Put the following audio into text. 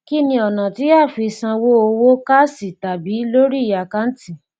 kí ni ọnà tí a fi í sanwó owó káàṣì tàbí lórí àkáǹtì